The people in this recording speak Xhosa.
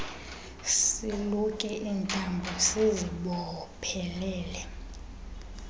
siluke iintambo siziboophelele